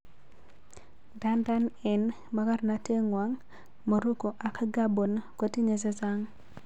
Ndadan eng makarnaten kwang, Morocco ak Gabon kotinye chechang.